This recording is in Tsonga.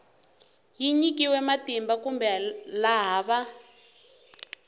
nyikiweke matimba kumbe laha va